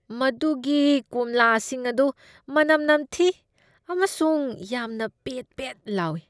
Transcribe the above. ꯃꯗꯨꯒꯤ ꯀꯣꯝꯂꯥꯁꯤꯡ ꯑꯗꯨ ꯃꯅꯝ ꯅꯝꯊꯤ ꯑꯃꯁꯨꯡ ꯌꯥꯝꯅ ꯄꯦꯠ ꯄꯦꯠ ꯂꯥꯎꯏ꯫